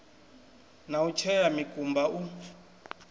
na u tshea mikumba u